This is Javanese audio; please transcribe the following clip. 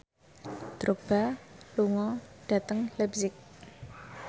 Drogba lunga dhateng leipzig